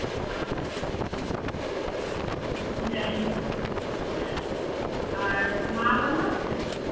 আচ্ছা আচ্ছা আচ্ছা। যাই হোক, আর মা ভালো আছেন?